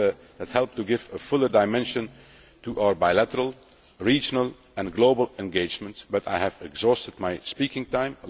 in parallel that help to give a fuller dimension to our bilateral, regional and global engagements, but I have more than exhausted my speaking